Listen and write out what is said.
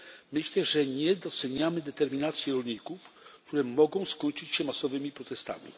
Myślę, że nie doceniamy determinacji rolników, która może skończyć się masowymi protestami.